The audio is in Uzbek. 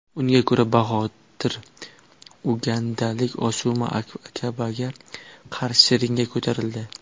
Unga ko‘ra, Bahodir ugandalik Osuma Akabaga qarshi ringga ko‘tarildi.